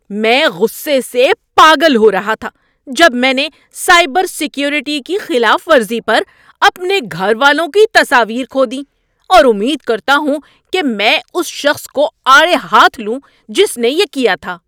میں غصے سے پاگل ہو رہا تھا جب میں نے سائبر سیکیورٹی کی خلاف ورزی پر اپنے گھر والوں کی تصاویر کھو دیں اور امید کرتا ہوں کہ میں اس شخص کو آڑے ہاتھ لوں جس نے یہ کیا تھا۔